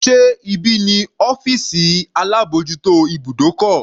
Sé ibí ni ọ́fìsì alábòjútó ibùdókọ̀?